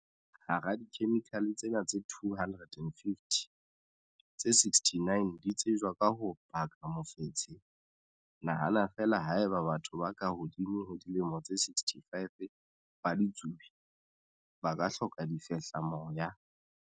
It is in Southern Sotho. Hara dikhemikhale tsena tse 250, tse 69 di tsejwa ka ho baka mofetshe. Nahana feela haeba batho ba ka hodimo ho dilemo tse 65 ba ditsubi, ba ka hloka difehlamoya.